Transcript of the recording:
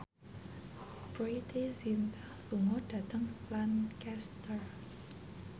Preity Zinta lunga dhateng Lancaster